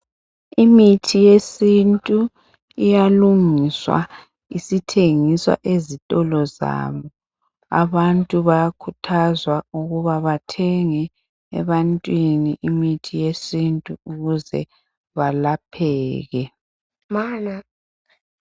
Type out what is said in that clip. Imithi yesintu iyalungiswa isithengiswa ezitolo zabo. Abantu bayakhuthazwa ukuthi bathenge imithi yesintu ukuze belapheke.